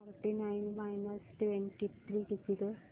to forty nine minus twenty three किती गं